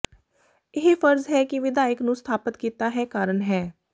ਇਹ ਫਰਜ਼ ਹੈ ਕਿ ਵਿਧਾਇਕ ਨੂੰ ਸਥਾਪਤ ਕੀਤਾ ਹੈ ਕਾਰਨ ਹੈ